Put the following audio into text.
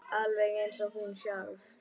Alveg eins og hún sjálf.